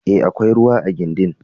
E, akwai ruwa a gindin.